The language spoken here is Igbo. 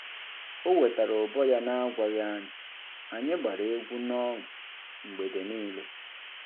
O wetara ụbọ ya n'agwaghị anyị, anyị gbara egwu n'ọṅụ mgbede niile.